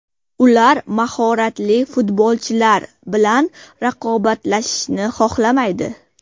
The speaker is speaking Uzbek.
Ular mahoratli futbolchilar bilan raqobatlashishni xohlamaydi”.